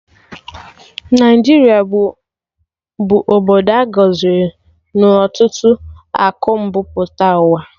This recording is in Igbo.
Naijata bụ obodo a gọziri na ọtụtụ akụ mbu mpụta ụwa